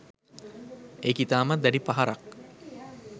ඒක ඉතාමත් දැඩි පහරක්